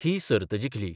ही सर्त जिखली.